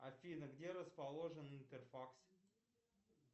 афина где расположен интерфакс